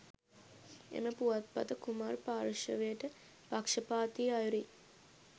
එම පුවත්පත කුමාර් පාර්ශ්වයට පක්ෂපාතී අයුරින්